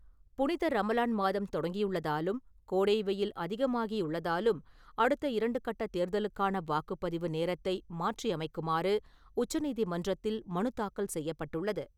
புனித ரமலான் மாதம் தொடங்கியுள்ளதாலும், கோடை வெய்யில் அதிகமாகியுள்ளதாலும் அடுத்த இரண்டு கட்ட தேர்தலுக்கான வாக்குப்பதிவு நேரத்தை மாற்றியமைக்குமாறு உச்சநீதிமன்றத்தில் மனு தாக்கல் செய்யப்பட்டுள்ளது.